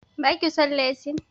Ba ki son leshin?